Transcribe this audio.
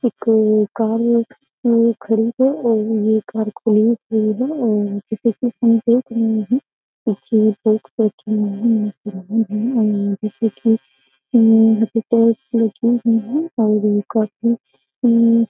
एक्क कार है जैसे की हम देख रहे हैं --